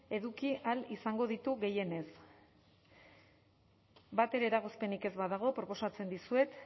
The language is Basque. eduki ahal izango ditu gehienez batere eragozpenik ez badago proposatzen dizuet